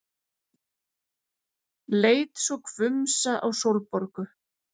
Leit svo hvumsa á Sólborgu.